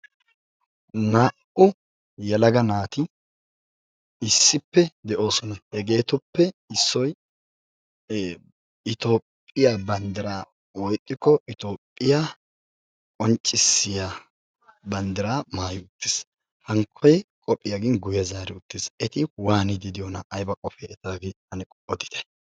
Naa''u yelaga naati issippe de'oosona. Hegeetuppe issoy Itoophphiya banddiraa woykko Itoophphiya qonccissiya banddiraa maayidi uttiis. Hankkoy qophiya gin guyye zaari uttiis. Eti waaniiddi diyonaa? ayba qofee etaagee ane odite.